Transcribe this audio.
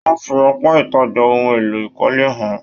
Wọn fí apá ìtajà ohùn èlò ìkọ́lé hàn-an.